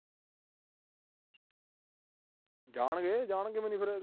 ਜਾਣਗੇ ਅਹ ਜਾਣਗੇ ਕਿਵੇਂ ਨੀ ਫਿਰ।